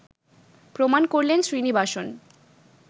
প্রমাণ করলেন শ্রীনিবাসন